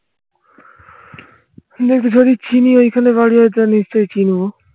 দেখি যদি চিনি ওইখানে বাড়ি আছে নিশ্চয়ই চিনবো